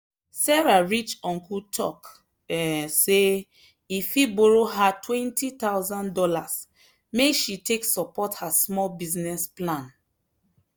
sarah rich uncle talk um say e fit borrow her two thousand dollars0 make she take support her small business plan.